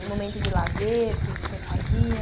O momento de lazer, o que é que o senhor fazia?